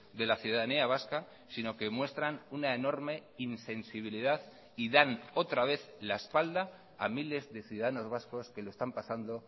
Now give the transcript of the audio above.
de la ciudadanía vasca sino que muestran una enorme insensibilidad y dan otra vez la espalda a miles de ciudadanos vascos que lo están pasando